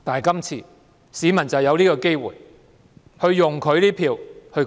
今次市民就有機會用選票發聲。